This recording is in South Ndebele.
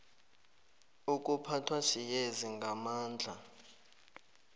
ukuphathwa siyezi ngamandla